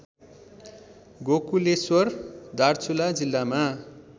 गोकुलेश्वर दार्चुला जिल्लामा